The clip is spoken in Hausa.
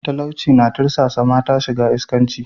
Talauci na tirsasa mata shiga iskanci.